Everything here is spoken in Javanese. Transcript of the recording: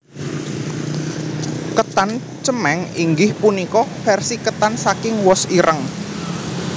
Ketan cemeng inggih punika versi ketan saking wos ireng